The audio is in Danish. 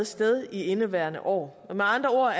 sted i indeværende år med andre